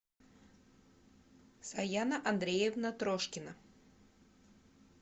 саяна андреевна трошкина